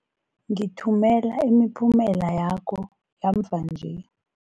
Ngithumela imiphumela yakho yamva nje.